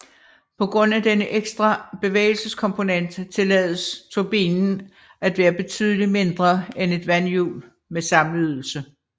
På grund af denne ekstra bevægelseskomponent tillades turbinen at være betydelig mindre end et vandhjul med samme ydelse